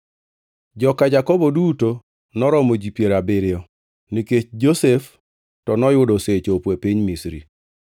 Joka Jakobo duto noromo ji piero abiriyo, nikech Josef to noyudo osechopo e piny Misri.